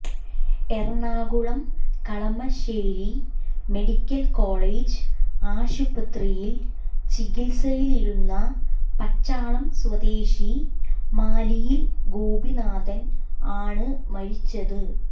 Ernakulam Kalamassery medical college ആശുപത്രിയിൽ ചികിത്സയിലിരുന്ന പച്ചാളം സ്വദേശി മാലിയിൽ ഗോപിനാഥൻ ആണ് മരിച്ചത്